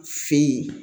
Fin